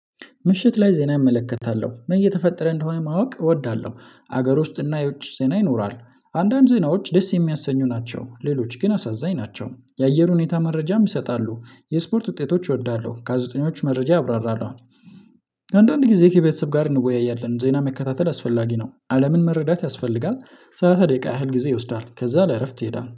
ምሽት ላይ ዜና እመለከታለሁ ምን እየተፈጠረ እንደሆነ ማወቅ እወዳለሁ። ሀገር ውስጥ እና የውጭ ዜና ይኖራል። አንዳንድ ዜናዎች ደስ የሚያሰኙ ናቸው ሌሎች ግን አሳዛኝ ናቸው። የአየር ሁኔታ መረጃም ይሰጣሉ የስፖርት ውጤቶች እወዳለሁ ገዜጠኞች መረጃ ያብራራሉ። አንዳንዴ ጊዜ ከቤተሰብ ጋር እንወያያለን ዜና መከታተል አስፈላጊ ነው አለምን መረዳት ያስፈልጋል። ሰላሳ ደቂቃ ያህል ጊዜ ይወስዳል ከዚያ ለእረፍት ይሄዳል